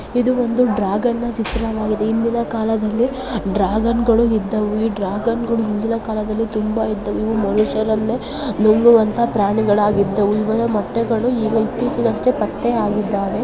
ಇದು ಒಂದು ಡ್ರ್ಯಾಗನನ ಚಿತ್ರವಾಗಿದೆ ಹಿಂದಿನ ಕಾಲದಲ್ಲಿ ಡ್ರ್ಯಾಗನ್ಗಳು ಇದ್ದವು ಈ ಡ್ರ್ಯಾಗನ್ಗಳು ಹಿಂದಿನ ಕಾಲದಲ್ಲಿ ತುಂಬಾ ಇದ್ದವು ಇವು ಮನುಷ್ಯರನ್ನೇ ನುಂಗುವಂತ ಪ್ರಾಣಿಗಳಾಗಿದ್ದವು .ಇದರ ಮೊಟ್ಟೆಗಳು ಈಗ ಇತ್ತೀಚಿಗಷ್ಟೇ ಪತ್ತೆ ಆಗಿದ್ದಾವೆ.